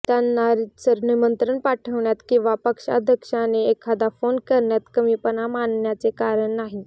त्यांना रीतसर निमंत्रण पाठविण्यात किंवा पक्षाध्यक्षाने एखादा फोन करण्यात कमीपणा मानण्याचे कारण नाही